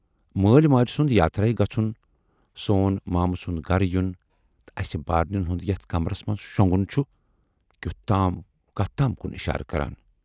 مٲلۍ ماجہِ سُند یاترایہِ گژھُن، سون مامہٕ سُند گرٕ یُن تہٕ اسہِ بارنٮ۪ن ہُند یتَھ کمرس منز شۅنگُن چھُ کتھ تام کُن اِشارٕ کران۔